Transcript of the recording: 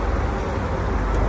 Əşhədü ən la ilahə illallah.